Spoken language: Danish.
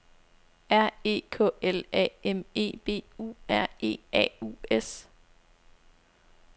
R E K L A M E B U R E A U S